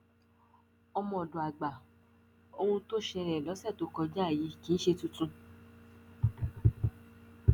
ọmọọdọgba ohun tó ṣẹlẹ lọsẹ tó kọjá yìí kì í ṣe tuntun